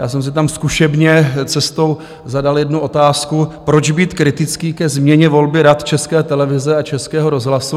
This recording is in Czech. Já jsem si tam zkušebně cestou zadal jednu otázku, proč být kritický ke změně volby Rad České televize a Českého rozhlasu.